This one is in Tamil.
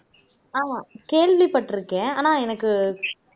ஆமா கேள்விப்பட்டிருக்கேன் ஆனா எனக்கு